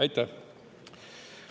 Aitäh!